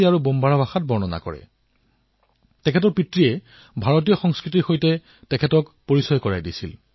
এইবাৰৰ ১৫ আগষ্টত তেওঁ হিন্দীত এক ভিডিঅৰ জৰিয়তে ভাৰতৰ জনসাধাৰণত স্বাধীনতা দিৱসৰ শুভেচ্ছা জনাইছিল